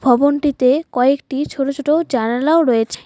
ভবনটিতে কয়েকটি ছোট ছোট জানালাও রয়েছে।